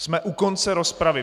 Jsme u konce rozpravy.